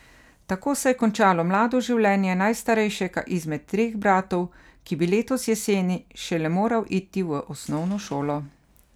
Tako se je končalo mlado življenje najstarejšega izmed treh bratov, ki bi letos jeseni šele moral iti v osnovno šolo.